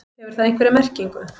Hefur það einhverja merkingu?